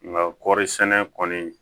Nka kɔɔri sɛnɛ kɔni